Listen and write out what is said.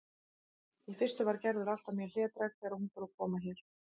Í fyrstu var Gerður alltaf mjög hlédræg þegar hún fór að koma hér.